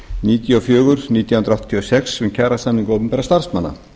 níutíu og fjögur nítján hundruð áttatíu og sex um kjarasamninga opinberra starfsmanna